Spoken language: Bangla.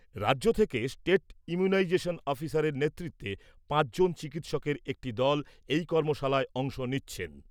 রাজ্য থেকে স্টেট ইমিউনাইজেশন অফিসারের নেতৃত্বে পাঁচ জন চিকিৎসকের একটি দল এই কর্মশালায় অংশ নিচ্ছে।